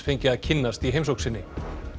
fengi að kynnast í heimsókn sinni